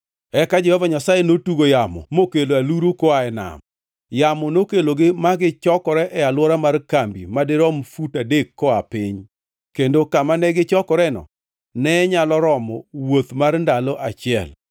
Eka Jehova Nyasaye notugo yamo mokelo aluru koa e nam. Yamo nokelogi ma gichokore e alwora mar kambi madirom fut adek koa piny, kendo kama ne gichokoreno ne nyalo romo wuoth mar ndalo achiel.